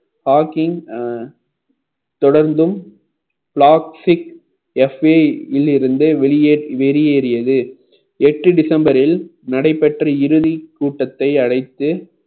hocking அ தொடர்ந்தும் plasticFA வில் இருந்தே வெளியே~ வெளியேறியது எட்டு டிசம்பரில் நடைபெற்ற இறுதிக் கூட்டத்தை அழைத்து